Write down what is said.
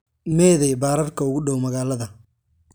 Meeday baararka ugu dhow magaalada?